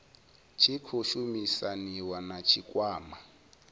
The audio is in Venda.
tshi khou shumisaniwa na tshikwama